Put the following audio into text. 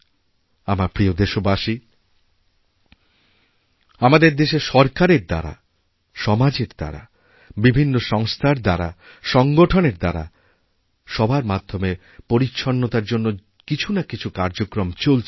আমার প্রিয় দেশবাসী আমাদেরদেশে সরকারের দ্বারা সমাজের দ্বারা বিভিন্ন সংস্থার দ্বারা সংগঠনের দ্বারা সবার মাধ্যমে পরিচ্ছন্নতার জন্য কিছু না কিছু কার্যক্রম চলছেই